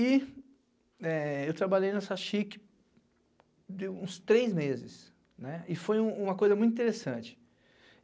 E eu trabalhei nessa cêagáicê uns três meses, e foi uma coisa muito interessante.